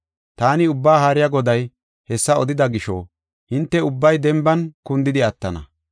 Taani Ubbaa Haariya Goday hessa odida gisho, hinte ubbay denban kundidi attana.